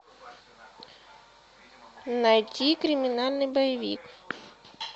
найти криминальный боевик